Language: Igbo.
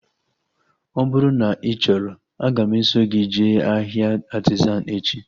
Ọ bụrụ na ị chọrọ, aga m eso gị jee ahịa Artizan echi